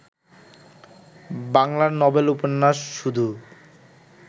বাংলার নবেল উপন্যাস শুধু